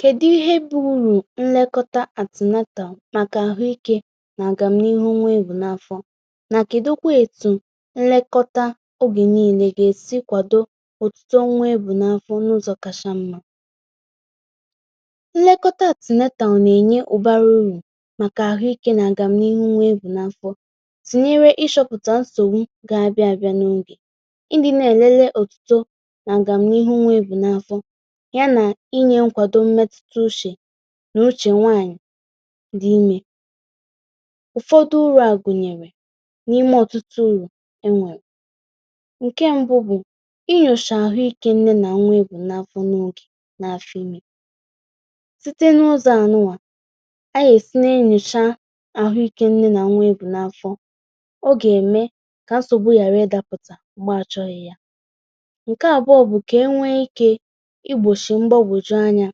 kèdụ ihe bụ urù nlekọta antenatal màkà àhụikė nà-àgàm n’ihu nwa ebù n’afọ nà kèdụkwa ètù nlekọta ogè niilė gà-èsi kwàdo ọ̀tụtụ nwa ebù n’afọ n’ụzọ̀ kàshà mmȧ nlekọta (antenatal) nà-ènye ụ̀bàrà urù màkà àhụikė nà-àgàm n’ihu nwa ebù n’afọ tinyere ịchopụ̀tà nsògbu gà-abịa bịa n’ogè, ndị nà-èlele ọ̀tito nà-àgàm n’ihu nwa ebù n’afọ ya na ịnye nkwàdo mmetụta ùchè nà ùchè nwaànyị̀ dị imė, ụfọdụ ụrụ̇, a àgùnyèrè n’ime ọ̀tụtụ urù e nwèrè, ǹkè mbù bụ̀, inyòcha àhụ ikė nne nà nwa ebù n’afọ n’ogè n’afọ̇ imė site n’ụzọ̀ ànụwà ayasi na-ènnyòcha àhụikė nne nà nwa ebù n’afọ̇, ọ gà-ème kà nsògbu yàrà ịdapụ̀tà m̀gbè àchọhị ya, ǹkè àbụ̀ọ bụ̀, kà enwè ikè igbochi mgbagwoju anya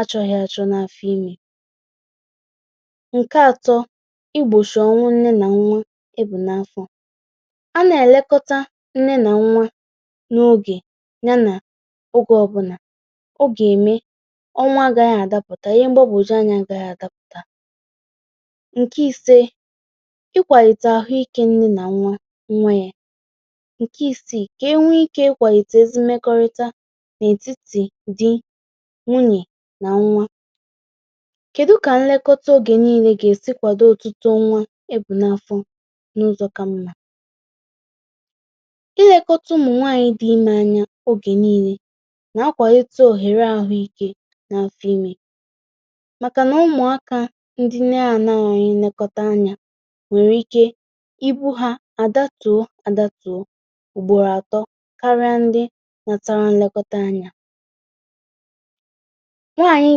àchọghị àchọ n’afọ̇ imė, ǹkè àtọ̇, igbochi ọnwụ nne nà nwa ebù n’afọ̇, a nà-èlekọta nne nà nwa n’ogè ya nà ogè ọbụnà, ọ gà-ème ọnwà agȧghị àdapụ̀tà, ihe gbàbùjoo ànyà gàghị̀ àdapụ̀tà ǹkè ìsè, ịkwàlìta àhụ ikė nne nà nwa yȧ, ǹkè isìì, kà e nwee ikè ịkwàlìte ezi mmekọrịta n’ètitì dì, nwunye nà nwȧ. kèdụ kà nlekọta nwa ogè niile gà-èsi kwàdo ọ̀tụtụ nwa ebù n’afọ n’ụzọ̀ kà mmȧ ilėkọta ụmụ̀ nwaànyị̀ dị imė ànyà ogè niile nà akwàlite òhèrè àhụ ikė n’afọ imė, màkà nà ụmụ̀ àkà ndị nne ànọghị nlekọta ànyà nwèrè ike ibù̇ hà àdátùo àdátùo m̀gbòrò atọ karịa ndị nwètàlụ nlekọta ànyà nwaànyị̀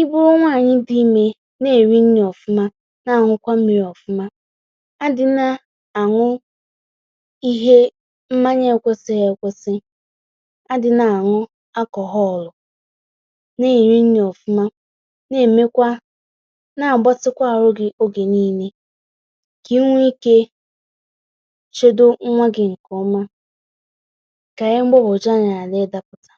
ibùrù nwaànyị̀ dị imė nà-èri nni ọ̀fụma nà-ànwụkwa mmirī̇ ọ̀fụma, adị̀ nà-ànụ ihe mmànye ekwesịghị ekwesị̇, adị̀ nà-ànụ alcohol, nà-èri nni ọ̀fụma, nà-èmèkwà, nà-àgbatịkwa àrụ gị̇ ogè niilė kà inwè ikè chèdò nwa gị̇ ǹkè ọma, kà ihe mgbagwoju anya hàrà ịdapụ̀tà.